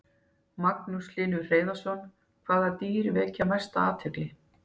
Magnús Hlynur Hreiðarsson: Hvaða dýr vekja mesta athygli?